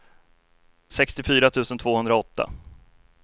sextiofyra tusen tvåhundraåtta